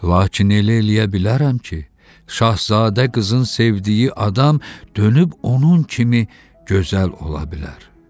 Lakin elə eləyə bilərəm ki, Şahzadə qızın sevdiyi adam dönüb onun kimi gözəl ola bilər.